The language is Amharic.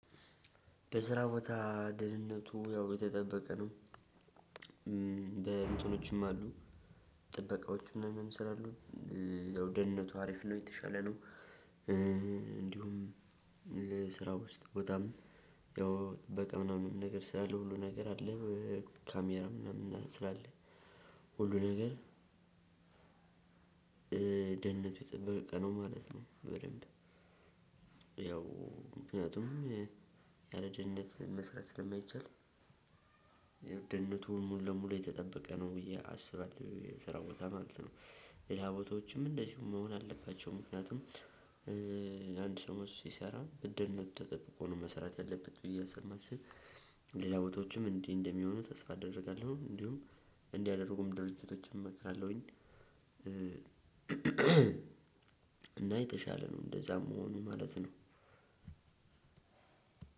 በስራ ቦታ ደህንነቱ ያው የተጠበቀ ነው። በእንትኖችም አሉ ጥበቃዎች ምናምን ስላሉ ያው ደህንነቱ አሪፍ ነው የተሻለ ነው። እንዲሁም ስራ ውስጥ ቦታም ያው ጥበቃ ምናምን ነገር ስላለ ሁሉ ነገር አለ ካሜራ ምናምን ስላለ ሁሉ ነገር ደህንነቱ የተጠበቀ ነው ማለት ነው በደንብ። ያው ምክንያቱም ያለ ደህንነት መስራት ስለማይቻል ያው ደህንነቱን ሙሉ ለሙሉ የተጠበቀ ነው ብዬ አስባለሁ የስራው ቦታ ማለት ነው። ሌላቦታዎችም እንደዚሁ መሆን አለባቸው። ምክንያቱም አንድ ሰው ሲሰራ በደህንነቱ ተጠብቆ ነው መስራት ያለበት ብዬ ስለማስብ ሌላ ቦታዎችም እንዲህ እንደሚሆኑ ተስፋ አደርጋለሁ። እንዲሁም እንዲያደረጉም ድርጅቶችም እመክራለሁኝ። እና የተሻለ ነው እንደዛም መሆኑ ማለት ነው።